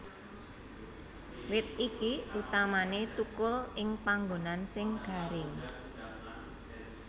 Wit iki utamané thukul ing panggonan sing garing